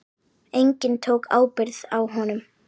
Enginn tók ábyrgð á honum.